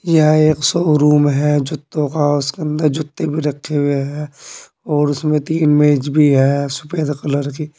यह एक शोरूम है जूतों का उसके अंदर जूते भी रखे हुए हैं और उसमें तीन मेज भी है सफेद कलर की।